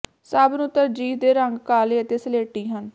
ਸਭ ਨੂੰ ਤਰਜੀਹ ਦੇ ਰੰਗ ਕਾਲੇ ਅਤੇ ਸਲੇਟੀ ਹਨ